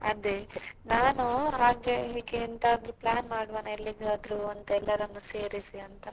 ಅದೇ ನಾನು ಹಾಗೆ ಹೀಗೆ ಎಂತಾದ್ರೂ plan ಮಾಡುವನಾ ಎಲ್ಲಿಗಾದ್ರೂ ಅಂತ ಎಲ್ಲರನ್ನು ಸೇರಿಸಿ ಅಂತ.